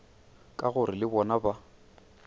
ka gore le bona ba